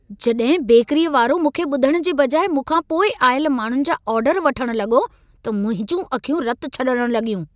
जॾहिं बेकरीअ वारो मूंखे ॿुधण जे बजाइ मूंखा पोइ आयल माण्हुनि जा आर्डर वठण लॻो त मुंहिंजूं अखियूं रत छॾण लॻियूं।